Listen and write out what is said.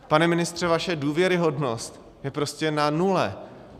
Pane ministře, vaše důvěryhodnost je prostě na nule.